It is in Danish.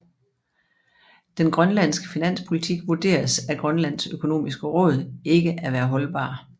Den grønlandske finanspolitik vurderes af Grønlands Økonomiske Råd ikke at være holdbar